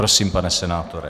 Prosím, pane senátore.